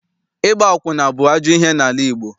Ịgba akwụna bụ ajọ ihe n'ala Igbo.